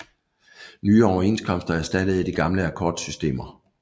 Nye overenskomster erstattede de gamle akkordsystemer